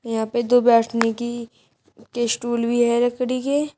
यहां पे दो बैठने की के स्टूल भी है लकड़ी के।